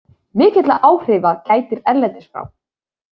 Mikilla áhrifa gætir erlendis frá.